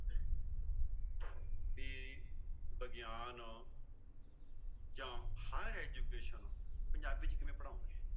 ਵੀ ਵਿਗਿਆਨ ਜਾਂ higher education Punjabi ਚ ਕਿਵੇਂ ਪੜ੍ਹਾਓਂਗੇ।